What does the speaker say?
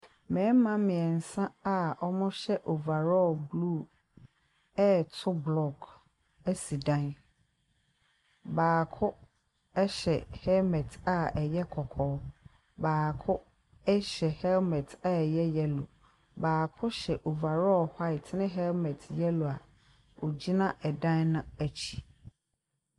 Mmarima mmiɛnsa a wɔhyɛ overall blue ɛreto block asi dan. Baako hyɛ helmet a ɛyɛ kɔkɔɔ, baako hyɛ helmet a ɛyɛ yellow, baako hyɛ overall white na helmet a ɛyɛ yellow a ogyina da n’akyi.